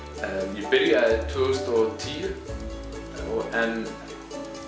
ég byrjaði tvö þúsund og tíu en